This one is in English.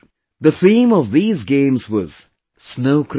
The theme of these Games was Snow Cricket